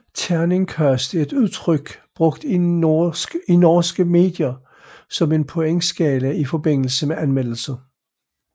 Terningkast er et udtryk brugt i norske medier som en pointskala i forbindelse med anmeldelser